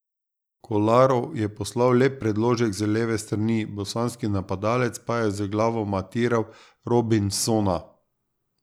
Kolarov je poslal lep predložek z leve strani, bosanski napadalec pa je z glavo matiral Robinsona.